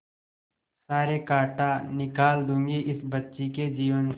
सारे कांटा निकाल दूंगी इस बच्ची के जीवन से